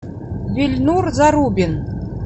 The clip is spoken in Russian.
ильнур зарубин